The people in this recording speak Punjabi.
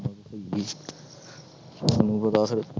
ਤੁਹਾਨੂੰ ਪਤਾ ਫਿਰ